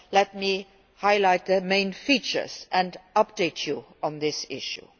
Let me highlight the main features and update you on this issue.